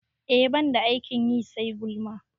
E, ban da aikin yi sai gulma